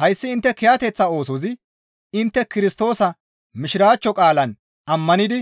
Hayssi intte kiyateththa oosozi intte Kirstoosa Mishiraachcho qaalaan ammanidi